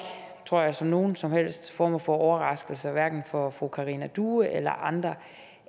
tror jeg som nogen som helst form for overraskelse hverken for fru karina due eller andre